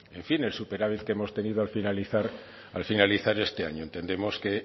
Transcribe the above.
en fin el superávit que hemos tenido al finalizar esta año entendemos que